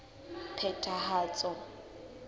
phethahatso